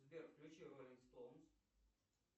сбер включи роллинг стоунс